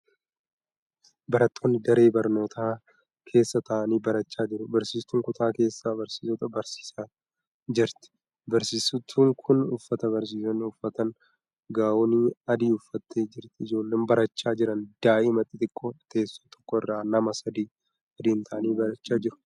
Barattoonni daree barnootaa keessa taa'anii barachaa jiru. Barsiistuun kutaa keessa barsiisota barsiisaa jirti. Barsiistuun kun uffata barsiisonni uffatan, gaawonii adii uffattee jirti. Ijoolleen barachaa jiran daa'ima xixiqqoodha. teessoo tokko irra nama sadi sadiin taa'anii barachaa jiru.